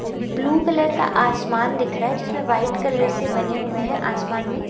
Blue colour का आसमान दिख रहा है जिसमें व्हाइट कलर से बने हुए हैं आसमान में।